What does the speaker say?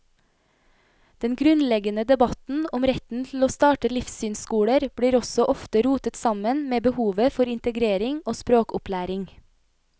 Den grunnleggende debatten om retten til å starte livssynsskoler blir også ofte rotet sammen med behovet for integrering og språkopplæring.